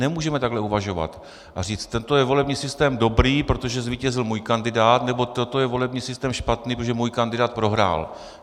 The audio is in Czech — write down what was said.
Nemůžeme takhle uvažovat a říct: toto je volební systém dobrý, protože zvítězil můj kandidát, nebo toto je volební systém špatný, protože můj kandidát prohrál.